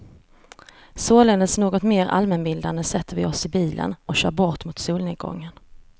Således något mer allmänbildade sätter vi oss i bilen och kör bort mot solnedgången.